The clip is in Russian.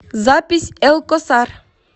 запись элкосар